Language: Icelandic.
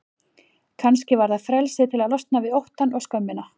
Kannski var það frelsið til að losna við óttann og skömmina.